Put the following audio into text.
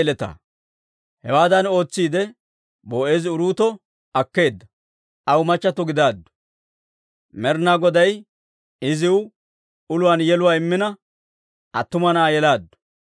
Hewaadan ootsiide, Boo'eezi Uruuto akkeedda; Aw machchattio gidaaddu. Med'inaa Goday iziw uluwaan yeluwaa immina, attuma na'aa yelaaddu.